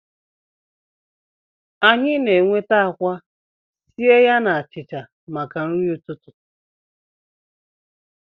Anyị na-enweta akwa sie ya na achịcha maka nri ụtụtụ